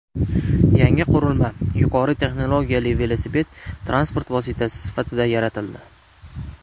Yangi qurilma yuqori texnologiyali velosiped transport vositasi sifatida yaratildi.